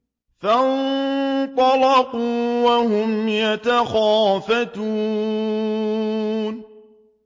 فَانطَلَقُوا وَهُمْ يَتَخَافَتُونَ